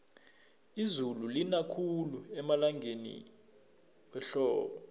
izulu lina khulu emalangeni wehlobo